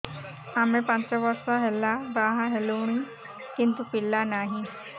ଆମେ ପାଞ୍ଚ ବର୍ଷ ହେଲା ବାହା ହେଲୁଣି କିନ୍ତୁ ପିଲା ନାହିଁ